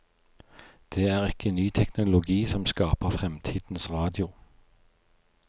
Det er ikke ny teknologi som skaper fremtidens radio.